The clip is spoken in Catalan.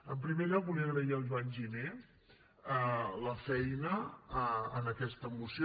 en primer lloc volia agrair al joan giner la feina en aquesta moció